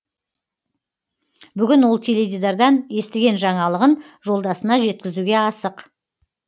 бүгін ол теледидардан естіген жаңалығын жолдасына жеткізуге асық